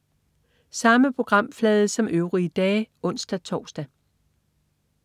Samme programflade som øvrige dage (ons-tors)